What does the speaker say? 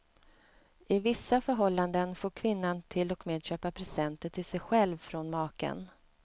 I vissa förhållanden får kvinnan till och med köpa presenter till sig själv från maken.